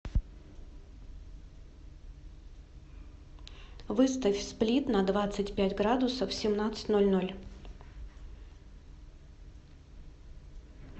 выставь сплит на двадцать пять градусов в семнадцать ноль ноль